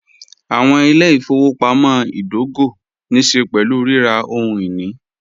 Awọn ilẹ̀-ifọwọpamọ̀ idògò ní ṣẹ̀ pẹ̀lú rírà ohun-ini.